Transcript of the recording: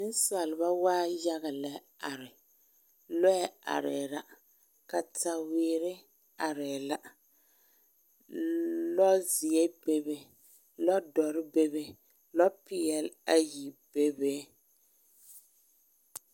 Nensaaleba waa yaga lɛ a are lɔɛ arɛɛ la kataweere arɛɛ la lɔzeɛ bebe lɔdɔre bebe lɔpeɛle ayi bebe